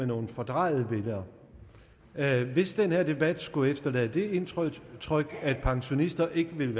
nogle fordrejede billeder hvis den her debat skulle efterlade det indtryk at pensionister ikke vil